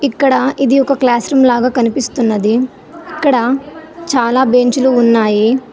ఇక్కడ ఇది ఒక క్లాస్ రూమ్ లాగా కనిపిస్తున్నది ఇక్కడ చాలా బెంచ్ లు ఉన్నాయి.